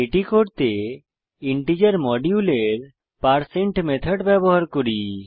এটি করতে ইন্টিজার মডিউলের পারসেইন্ট মেথড ব্যবহার করি